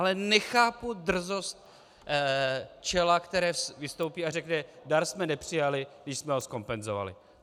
Ale nechápu drzost čela, které vystoupí a řekne: Dar jsme nepřijali, když jsme ho zkompenzovali.